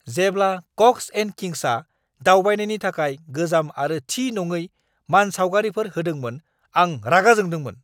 जेब्ला Cox and किंग्सआ दावबायनायनि थाखाय गोजाम आरो थि नङै मानसावगारिफोर होदोंमोन, आं रागा जोंदोंमोन।